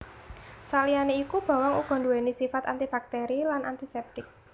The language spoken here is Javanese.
Saliyané iku bawang uga nduwèni sifat antibakteri lan antisèptik